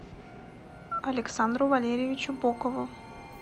александру валерьевичу бокову